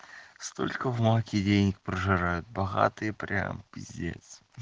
столько в маке денег прожирают богатые прям пиздец